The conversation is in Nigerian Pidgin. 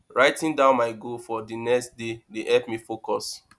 writing down my goals for the next day dey help me focus